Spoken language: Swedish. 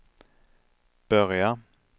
börja